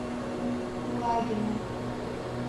кулагина